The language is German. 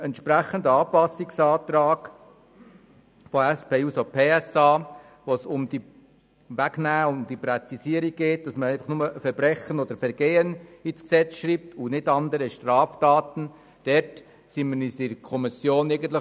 Betreffend Anpassungsantrag der SP-JUSO-PSA-Fraktion, gemäss welchem im Gesetz «Verbrechen und Vergehen» statt «andere Straftaten» stehen soll, war sich die Kommission einig: